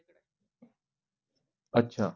आच्छा.